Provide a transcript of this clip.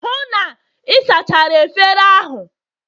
hụ na ị sachara efere ahụ!